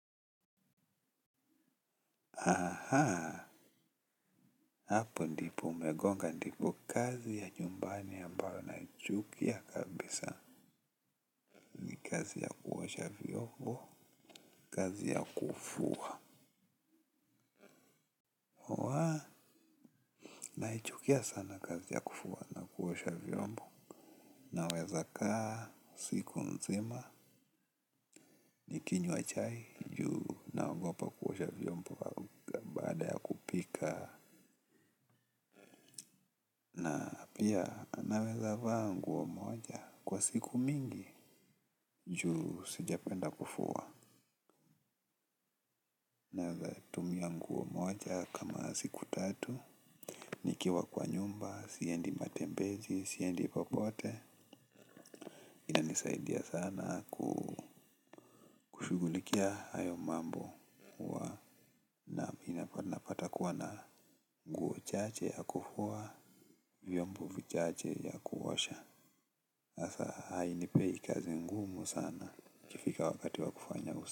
Hapo ndipo umegonga ndipo. Kazi ya nyumbani ambayo naichukia kabisa. Kazi ya kuosha vyombo, kazi ya kufua naichukia sana kazi ya kufua na kuosha vyombo naweza kaa, siku nzima nikinywa chai juu naogopa kuosha vyombo au baada ya kupika. Pia, naweza va ngu o moja kwa siku mingi, juu sijapenda kufua na nguo moja kama siku tatu. Nikiwa kwa nyumba, siendi matembezi, siendi popote. Inanisaidia sana kushughulikia hayo mambo. Na mimi napata kuwa na nguo chache ya kufua, vyombo vichache ya kuosha asa haninipei kazi ngumu sana, ikifika wakati wa kufanya usafi.